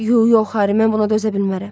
yox yox Harri, mən buna dözə bilmərəm.